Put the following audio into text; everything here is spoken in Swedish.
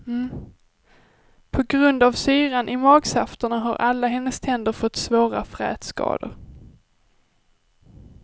På grund av syran i magsafterna har alla hennes tänder fått svåra frätskador.